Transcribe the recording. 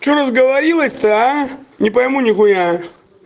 что разговорилась-то а не пойму нехуя